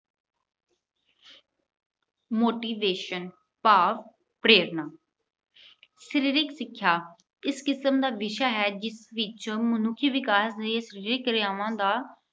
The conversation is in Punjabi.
motivation ਭਾਵ ਪ੍ਰੇਰਨਾ। ਸਰੀਰਕ ਸਿੱਖਿਆ ਇਸ ਕਿਸਮ ਦਾ ਵਿਸ਼ਾ ਹੈ ਕਿ ਜਿਸ ਵਿੱਚ ਮਨੁੱਖੀ ਵਿਕਾਸ ਦੇ ਸਰੀਰਕ ਕਿਰਿਆਵਾਂ ਦਾ